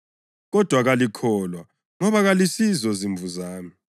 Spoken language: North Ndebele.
kodwa kalikholwa ngoba kalisizo zimvu zami.